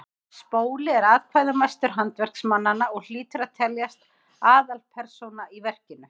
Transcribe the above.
spóli er atkvæðamestur handverksmannanna og hlýtur að teljast aðalpersóna í verkinu